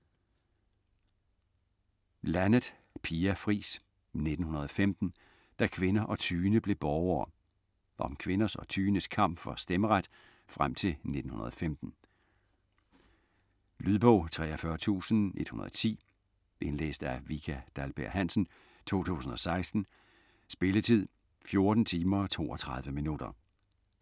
Laneth, Pia Fris: 1915 - da kvinder og tyende blev borgere Om kvinders og tyendes kamp for stemmeret frem til 1915. Lydbog 43110 Indlæst af Vika Dahlberg-Hansen, 2016. Spilletid: 14 timer, 32 minutter.